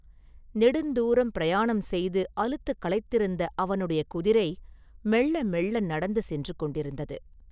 நெடுந்தூரம் பிரயாணம் செய்து அலுத்துக்களைத்திருந்த அவனுடைய குதிரை மெள்ள மெள்ள நடந்து சென்று கொண்டிருந்தது.